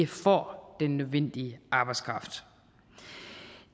får den nødvendige arbejdskraft